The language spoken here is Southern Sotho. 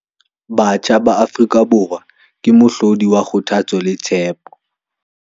Batjha ba Afrika Borwa ke mohlodi wa kgothatso le tshepo